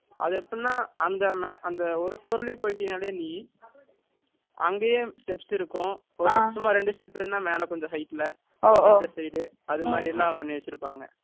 அது எப்படின்னா, அந்த ஒரு floor லயே போயிட்டினாலே நீ, அங்கேயே steps இருக்கும். ஒரு சும்மா இரண்டு step இருந்தா, மேலே கொஞ்சம் height ல. ஓஹோ. இந்த side , அது மாதிரி எல்லாம் பண்ணி வச்சிருப்பாங்க